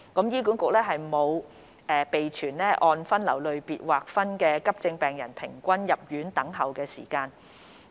醫管局沒有備存按分流類別劃分的急症室病人平均入院等候時間。